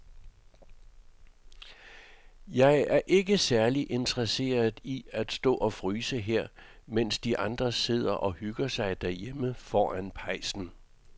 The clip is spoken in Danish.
Jeg er ikke særlig interesseret i at stå og fryse her, mens de andre sidder og hygger sig derhjemme foran pejsen.